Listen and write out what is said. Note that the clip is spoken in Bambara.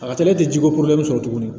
A ka teli te ji ko porobilɛmu sɔrɔ tuguni